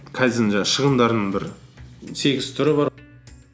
кайдзен жаңағы шығындардың бір сегіз түрі бар